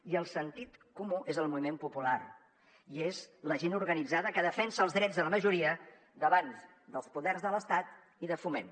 i el sentit comú és el moviment popular i és la gent organitzada que defensa els drets de la majoria davant dels poders de l’estat i de foment